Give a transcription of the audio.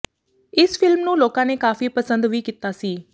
ਇਸ ਫਿਲਮ ਨੂੰ ਲੋਕਾਂ ਨੇ ਕਾਫ਼ੀ ਪਸੰਦ ਵੀ ਕੀਤਾ ਸੀ